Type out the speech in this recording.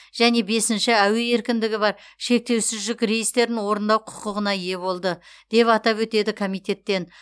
және бесінші әуе еркіндігі бар шектеусіз жүк рейстерін орындау құқығына ие болды деп атап өтеді комитеттен